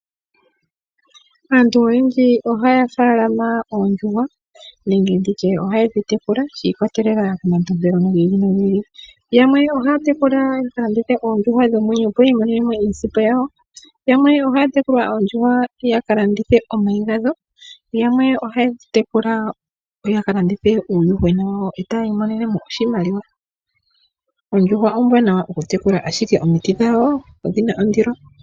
Aantu oyendji oha ya faalama oondjuhwa nenge nditye oha yedhi tekula shi ikwatelela komatompelo gi ili nogi ili. Yamwe ohaya tekula ya kalandithe oondjuhwa dhomwenyo opo yiimonene mo iisimpo yawo. Yamwe oha ya tekula oondjuhwa ya kalandithe omayi gadho. Yamwe oha ye dhi tekula ya kalandithe uuyuhwena wawo etaya imonene mo oshimaliwa. Oondjuhwa oombwanawa kutekula ashike omiti dhawo odhina ondilo.